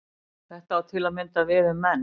Þetta á til að mynda við um menn.